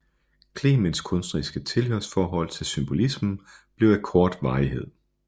Clements kunstneriske tilhørsforhold til symbolismen blev af kort varighed